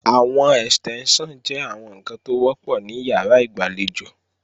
Àwọn Ẹ̀stẹ́ńṣàn jẹ́ àwọn ǹkan tó wọ́pọ̀ ní ìyàrá ìgbàlejò